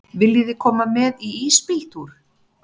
Viljiði koma með í ísbíltúr?